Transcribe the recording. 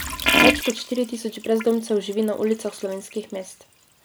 Več kot štiri tisoč brezdomcev živi na ulicah slovenskih mest.